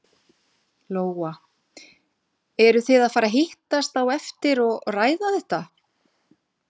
Lóa: Eru þið að fara að hittast á eftir og ræða þetta?